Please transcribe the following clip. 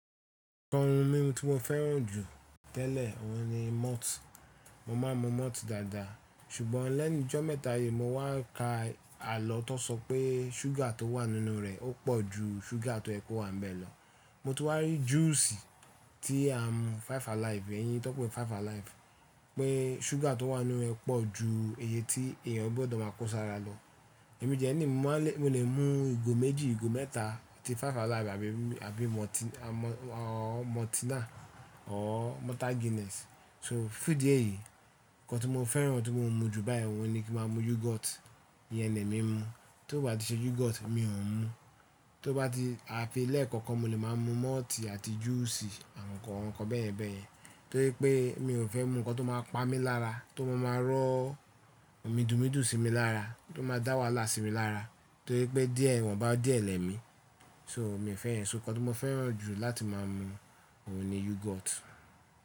Nǹkan ohun mímu tí mo fẹ́ràn jù tẹ́lẹ̀ ọ̀hún ni malt. Mo máa ń mu malt dáadáa ṣùgbọ́n lẹ́nu ìjọ́ mẹ́ta yìí mo wá ka àlọ́ tó sọ pé ṣúgà tó wà nínú rẹ̀ ó pọ̀ ju ṣúgà tóyẹ kówa ń bẹ lọ. Mo tún wá rí juice tí à ń mu five alive, ẹ̀yi tan n pé five alive pé ṣúgà tó wà nínú rẹ̀ pọ̀ ju èyí tí èèyàn gbọ́dọ̀ máa kó sára lọ. Ẹ̀ mi dẹ́ ní mo máa lè mo lè mú ìgò méjì, ìgò mẹ́ta tí five alive àbí maltina or Malta Guinness. So fún ìdí ẹyí nǹkan tí mo fẹ́ràn tí mo ń mu jù báyìí ọ̀hún ni kí máa mu yoghurt, ìyẹn ni èmi ń mu. Tí ó bá ti ṣe yoghurt mi ò ń mu, tí ó bá ti a fi lẹ̀ẹ̀kọ̀ọ̀kan mo lè máa mu malt àti juice àwọn nǹkan--àwọn nǹkan bẹ́yẹ̀n bẹ́yẹn. Torí pé mi ò fẹ́ mu nǹkan tó máa pa mí lára, tó máa máa rọ́ midùnmidùn sí mi lára, tó máa dá wàhálà sí mi lára torí pé díẹ̀ iwọ́nbá díẹ̀ lẹ́mi. So mi ò fẹ́ yẹ́n, so nǹkan tí mo fẹ́ràn jù láti máa mu ọ̀hún ni yoghurt.